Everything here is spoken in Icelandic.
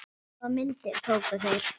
Hvaða myndir tóku þeir?